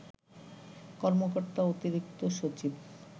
কর্মকর্তা অতিরিক্ত সচিব